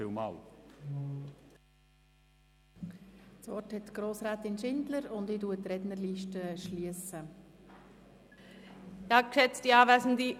Das Wort hat Grossrätin Schindler, und nun schliesse ich die Rednerliste.